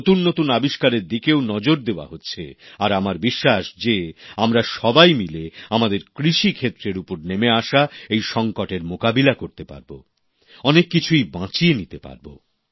নতুন নতুন আবিষ্কারের দিকেও নজর দেওয়া হচ্ছে আর আমার বিশ্বাস যে আমরা সবাই মিলে আমাদের কৃষি ক্ষেত্রের উপর নেমে আসা এই সংকটের মোকাবিলা করতে পারব অনেক কিছুই বাঁচিয়ে নিতে পারব